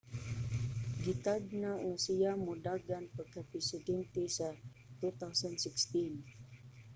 gitagna nga siya modagan pagkapresidente sa 2016